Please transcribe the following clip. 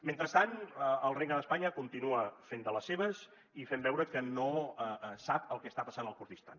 mentrestant el regne d’espanya continua fent de les seves i fent veure que no sap el que està passant al kurdistan